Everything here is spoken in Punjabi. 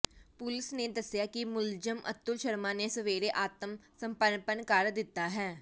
ਪੁਲਿਸ ਨੇ ਦੱਸਿਆ ਕਿ ਮੁਲਜ਼ਮ ਅਤੁਲ ਸ਼ਰਮਾ ਨੇ ਸਵੇਰੇ ਆਤਮ ਸਮਰਪਣ ਕਰ ਦਿੱਤਾ ਹੈ